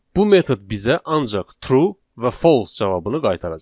Bu metod bizə ancaq true və false cavabını qaytaracaq.